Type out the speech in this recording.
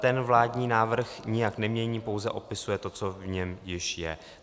Ten vládní návrh nijak nemění, pouze opisuje to, co v něm již je.